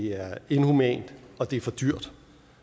er inhumant og det er for dyrt